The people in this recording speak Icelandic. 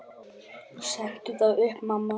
Sendu þá upp, mamma.